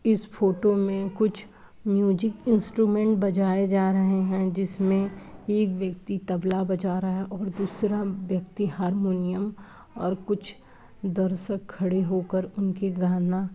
इस फोटो मे कुछ म्यूजिक इन्स्ट्रमन्ट बजाए जा रहे हैं। जिसमे एक व्यक्ति तबला बजा रहा है और दूसरा व्यक्ति हारमोनियम और कुछ दर्शक खड़े होकर उनके गाना --